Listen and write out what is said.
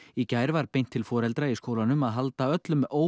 í gær var beint til foreldra barna í skólanum að halda öllum